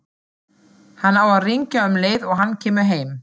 Hann á að hringja um leið og hann kemur heim.